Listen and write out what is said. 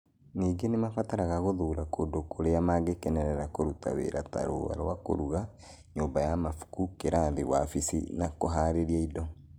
Ningĩ nĩ mabataraga gũthuura kũndũ kũrĩa mangĩkenera kũruta wĩra ta, rũũa rwa kũruga, nyũmba ya mabuku, kĩrathi, wabici, na kũhaarĩria indo.